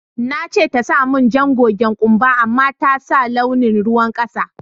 Na ce ta sa mun jan gogen kumba amma ta sa launin ruwan kasa.